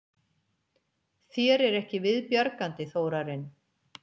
Þér er ekki viðbjargandi, Þórarinn.